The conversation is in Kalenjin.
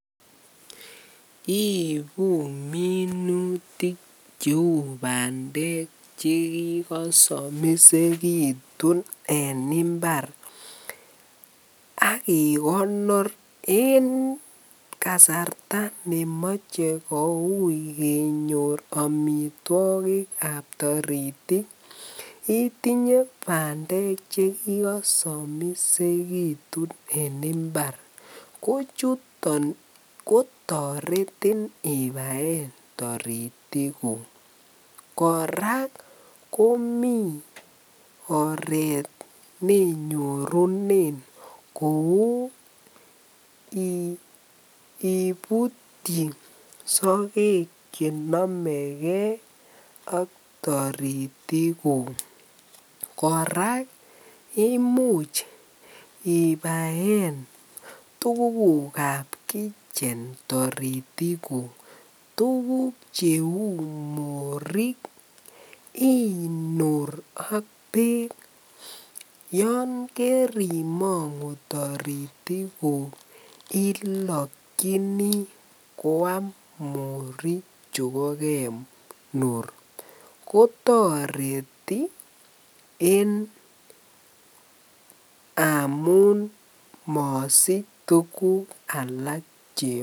Ibuu minutik cheuu bandek che kikosomisekitun en imbar ak ikonor en kasarta nemoche koui kenyor omitwokikab toritik itinye bndek chekikosomisekitun en imbar, ko chuton kotoretin ibaen toritikuk, kora komii oreet neinyorunen kouu ibutyi sokek chenomeke ak toritikuk, kora imuch ibaen tukukab kitchen toritikuk, tukuk cheuu morik inur ak beek, yoon korimongu toritikuk ilokyini kwaam morik chuko kenur, kotoreti en amun mosich tukuk alak cheome.